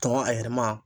Tɔn a yɛrɛma